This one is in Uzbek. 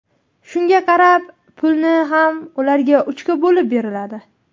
Shunga qarab, pulni ham ularga uchga bo‘lib beriladi.